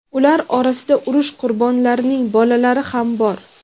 Ular orasida urush qurbonlarining bolalari ham bor.